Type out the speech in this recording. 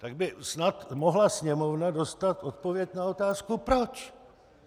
Tak by snad mohla Sněmovna dostat odpověď na otázku proč.